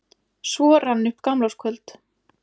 Svo rann upp gamlárskvöld.